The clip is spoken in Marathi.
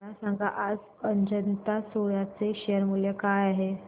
मला सांगा आज अजंता सोया चे शेअर मूल्य काय आहे